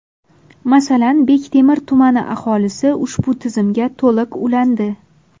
Masalan, Bektemir tumani aholisi ushbu tizimga to‘liq ulandi.